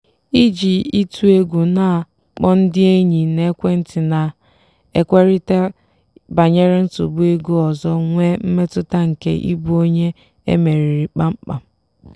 iji ịtụ egwu na-akpọ ndị enyi n'ekwentị na-ekwurịta banyere nsogbu ego ọzọ nwee mmetụta nke ịbụ onye e meriri kpam kpam.